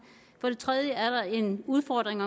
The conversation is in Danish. for det tredje er der en udfordring